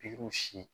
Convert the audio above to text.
Pikiw si